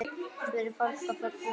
Spurði fólk á förnum vegi.